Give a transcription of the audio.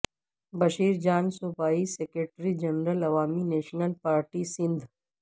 بشیر جان صوبائی secretary general Awami national party Sindh